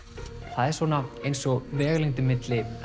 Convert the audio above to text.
það er svona eins og vegalengdin milli